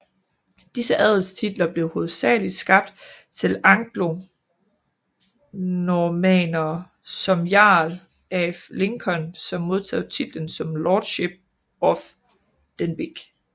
Disse adelstitler blev hovedsageligt skabt til anglonormannere som jarl af Lincoln som modtog titlen som lordship of Denbigh